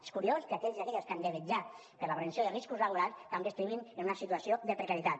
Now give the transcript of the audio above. és curiós que aquells i aquelles que han de vetllar per la prevenció de riscos laborals també estiguin en una situació de precarietat